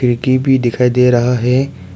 खिड़की भी दिखाई दे रहा है।